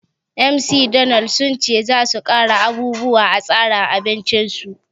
McDonald sun ce za su ƙara abubuwa a tsarin abincin su